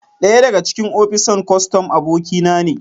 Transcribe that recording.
daya daga cikin opisan kostom abokinane